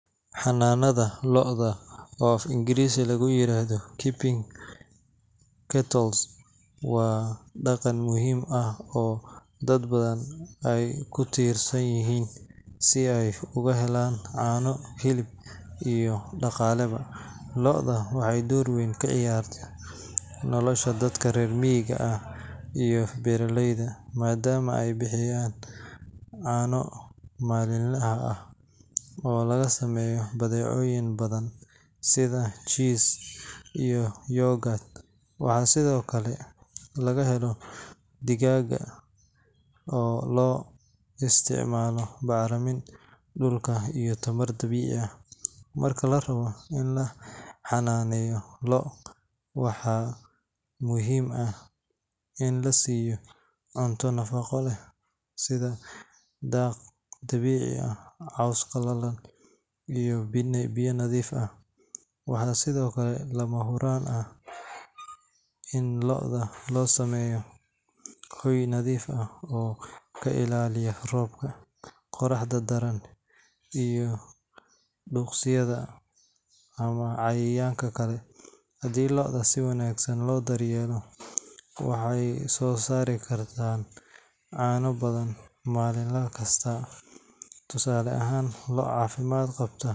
Xananada lodha oo af indiris lagu yirahdo keeping cattles waa daqan muhiim ah oo dad badan ee kutirsan yihin si ee oga helan cano hilib iyo daqalaba lodha waxee dor weyn ka ciyartaa noloshaada dadka rer miga iyo beera leyda, madama ee bixiyan cano malinlaha ah, marka larawo in la xananeyo waxaa muhiim ah in lasiyo cunto cafimaad leh, waxaa muhiim ah in losameyo guri, hadii lodha sifican lo daryeelo waxee kusineysa cafimaad kabta.